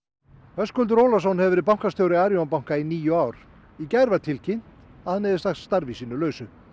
Höskuldur Ólafsson hefur verið bankastjóri Arion banka í níu ár í gær var tilkynnt að hann hefði sagt starfi sínu lausu